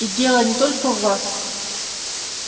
и дело не только в вас